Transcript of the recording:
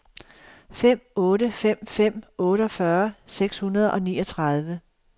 fem otte fem fem otteogfyrre seks hundrede og niogtredive